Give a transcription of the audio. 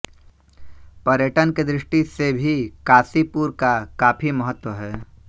पर्यटन की दृष्टि से भी काशीपुर का काफी महत्व है